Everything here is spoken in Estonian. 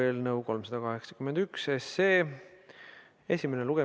Ettevõtjate võrdse kohtlemise huvides ühtlustame ka osa seadustes sätestatud trahvimääradest.